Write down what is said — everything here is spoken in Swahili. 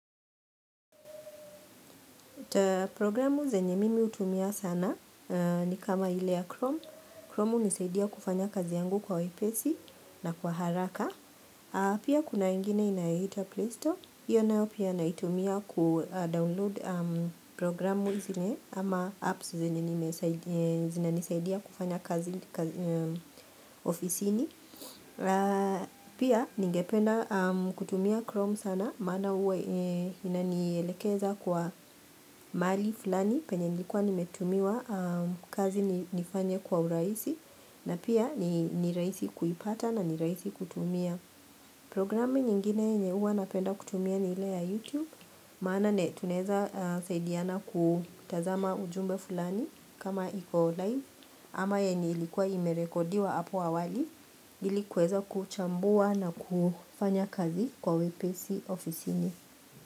Programu zenye mimi utumia sana ni kama ile ya Chrome Chrome unisaidia kufanya kazi yangu kwa wepesi na kwa haraka Pia kuna ingine inayoitwa Play Store Iyo nayo pia naitumia kudownload programu zinye ama apps zenye zinanisaidia kufanya kazi ofisini Pia ningependa kutumia Chrome sana maana huwa inanielekeza kwa maali fulani penye nilikuwa nimetumiwa kazi nifanye kwa uraisi na pia niraisi kuipata na niraisi kutumia programu nyingine yenye uwa napenda kutumia ni ila ya YouTube maana tunaeza saidiana kutazama ujumbe fulani kama iko live ama yenye ilikuwa imerekodiwa apo awali ilikuweza kuchambua na kufanya kazi kwa wepesi ofisini.